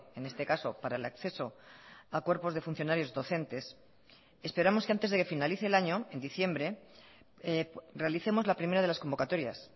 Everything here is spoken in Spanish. en este caso para el acceso a cuerpos de funcionarios docentes esperamos que antes de que finalice el año en diciembre realicemos la primera de las convocatorias